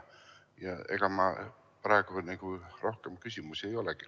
Ega mul praegu rohkem küsimusi ei olegi.